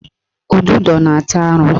Ududo na-ata arụ